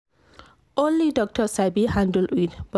only doctor sabi handle iud but